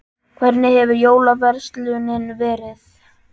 Hvernig hefur jólaverslunin verið?